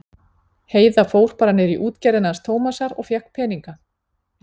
Heiða fór bara niður í útgerðina hans Tómasar og fékk peninga.